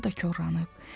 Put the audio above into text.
Hava da korlanıb.